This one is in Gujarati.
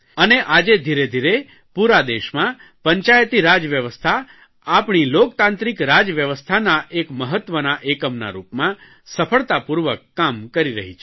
અને આજે ધીરેધીરે પૂરા દેશમાં પંચાયતીરાજ વ્યવસ્થા આપણી લોકતાંત્રિક રાજવ્યવસ્થાના એક મહત્વના એકમના રૂપમાં સફળતાપૂર્વક કામ કરી રહી છે